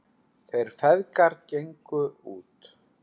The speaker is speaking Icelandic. Þeir feðgar gengu út.